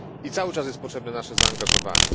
Cały czas jest potrzebne nasze zaangażowanie.